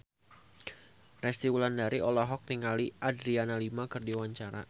Resty Wulandari olohok ningali Adriana Lima keur diwawancara